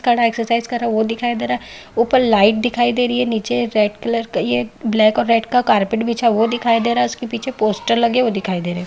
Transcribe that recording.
खड़ा है एक्सरसाइज कर रहा है वो दिखाई ऊपर लाइट दिखाई दे रही है नीचे रेड कलर का ये ब्लैक और रेड कलर का कारपेट बिछा हुआ है वो दिखाई दे रहा है उसके पीछे पोस्टर लगे वो दिखाई दे रहे है।